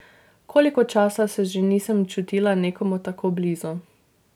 Koliko časa se že nisem čutila nekomu tako blizu?